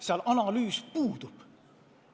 Seal analüüs puudub.